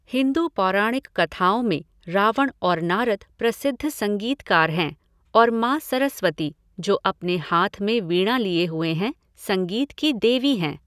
हिंदू पौराणिक कथाओं में रावण और नारद प्रसिद्ध संगीतकार हैं और माँ सरस्वती, जो अपने हाथ में वीणा लिए हुए हैं, संगीत की देवी हैं।